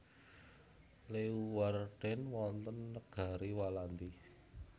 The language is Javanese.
Leeuwarden wonten Negari Walandi